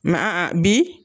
Ma bi